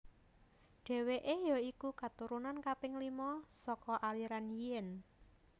Dheweke ya iku keturunan kaping lima saka aliran Yin